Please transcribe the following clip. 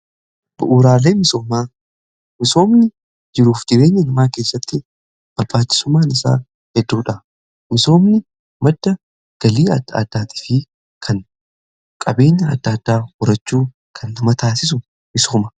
Bu'uuraalee misoomaa: misoomni jiruuf jireenya namaa keessatti barbaachisumaan isaa hedduudha. Misoomni madda galii adda addaati fi kan qabeenya adda addaa horachuu kan nama taasisu misooma.